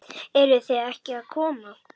Eruð þið ekki að koma?